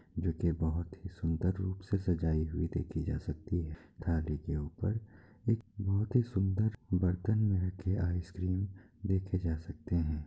जो की बहुत ही सुंदर रूप से सजाई हुई देखी जा सकती है। थाली के ऊपर एक बहुत ही सुंदर बर्तन मे रखे आइसक्रीम देखे जा सकते है।